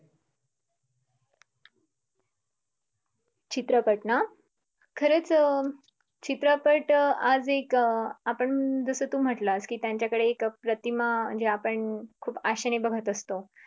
चित्रपट ना खरंच अं चित्रपट आज एक आपण जस तू म्हटलास की त्यांच्याकडे एक प्रतिमा ज्या आपण खूप आशेने बघत असतो